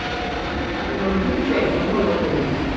Ég er orðin hundleið á grófa brauðinu!